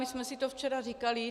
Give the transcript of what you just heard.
My jsme si to včera říkali.